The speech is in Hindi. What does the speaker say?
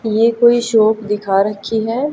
ये कोई शॉप दिखा रखी है।